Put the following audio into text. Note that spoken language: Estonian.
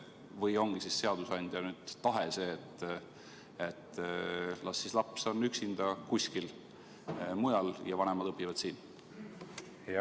Või ongi seadusandja tahe see, et las laps olla üksinda kuskil mujal, kui vanemad õpivad siin?